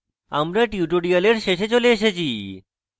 আমরা tutorial শেষে চলে এসেছি